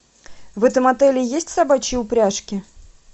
в этом отеле есть собачьи упряжки